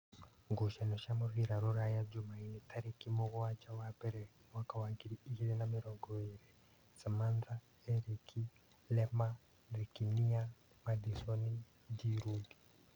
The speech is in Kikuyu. Ngucanio cia mũbira Rūraya Jumaine tarĩki mũgwanja wa mbere mwaka wa ngiri igĩrĩ na mĩrongo ĩrĩ: Samantha, Erĩki, Lema, Thikinia, Madisoni, Ngirundi